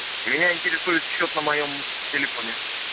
меня интересует счёт на моем телефоне